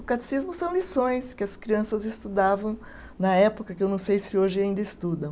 O catecismo são lições que as crianças estudavam na época, que eu não sei se hoje ainda estudam.